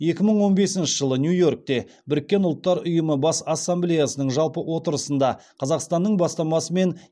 екі мың он бесінші жылы нью йоркте біріккен ұлттар ұйымы бас ассамблеясының жалпы отырысында қазақстанның бастамасымен